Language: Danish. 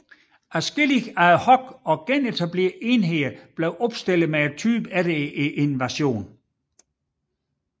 Adskillige ad hoc og genetablerede enheder blev opstillet med typen efter invasionen